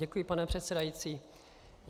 Děkuji, pane předsedající.